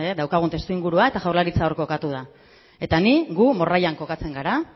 daukagun testuingurua eta jaurlaritza hor kokatu da eta ni gu morrallan kokatzen gara